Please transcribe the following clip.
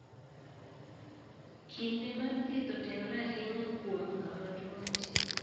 Kinde mar thieth otenore ahinya kuom kama tuwo nitie.